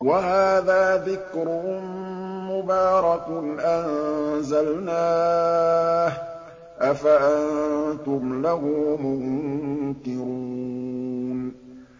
وَهَٰذَا ذِكْرٌ مُّبَارَكٌ أَنزَلْنَاهُ ۚ أَفَأَنتُمْ لَهُ مُنكِرُونَ